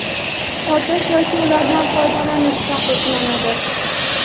sotish yoki ulardan foydalanish taqiqlanadi.